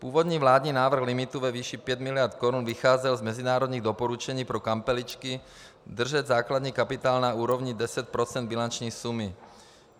Původní vládní návrh limitu ve výši 5 miliard korun vycházel z mezinárodních doporučení pro kampeličky držet základní kapitál na úrovni 10 % bilanční sumy.